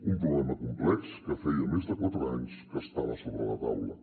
un problema complex que feia més de quatre anys que estava sobre la taula